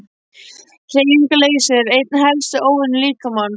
Hreyfingarleysi er einn helsti óvinur líkamans.